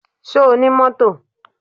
Ṣo ní mọ́tò?